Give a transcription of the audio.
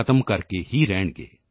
ਖ਼ਤਮ ਕਰਕੇ ਹੀ ਰਹਿਣਗੇ